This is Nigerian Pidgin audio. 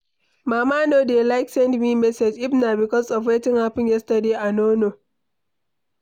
Mama no dey like send me message, if na because of wetin happen yesterday I no know.